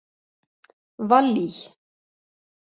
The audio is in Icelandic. Vallý